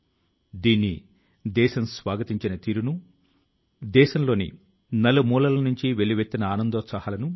నా విషయంలో మన్ కీ బాత్ మనసు లో మాట కార్యక్రమం ఎప్పుడూ అటువంటి వారి కృషి తో నిండిన అందమైన ఉద్యానవనం